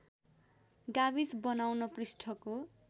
गाविस बनाउन पृष्ठको